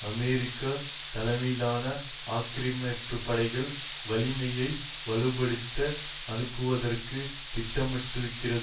America தலைமையிலான ஆக்கிரமிப்புப்படைகளின் வலிமையை வலுப்படுத்த அனுப்புவதற்கு திட்டமிட்டிருக்கிறது